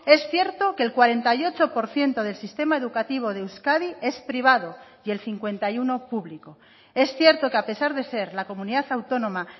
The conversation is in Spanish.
es cierto que el cuarenta y ocho por ciento del sistema educativo de euskadi es privado y el cincuenta y uno público es cierto que a pesar de ser la comunidad autónoma